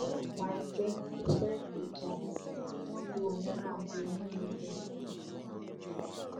ọlọpàá ẹgbẹ ẹ tó fẹ gbìjà ẹ wọn lu òun náà bíi ẹni lu bẹńbẹ